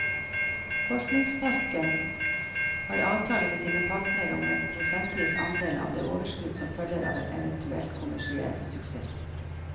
Forskningsparken har avtale med sine partnere om en prosentvis andel av det overskudd som følger av en eventuell kommersiell suksess.